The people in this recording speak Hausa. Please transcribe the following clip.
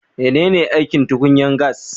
Menene aikin tukunyan gas?